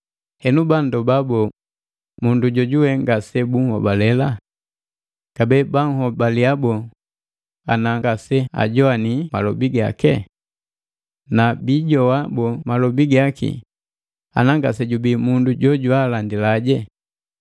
Henu, banndoba boo, mundu jojuwe ngase bunhobalela? Kabee banhobalia boo ana ngaseajowani malobi gake? Na biijowa boo malobi gaki ana ngasejubii mundu jojwaalandile?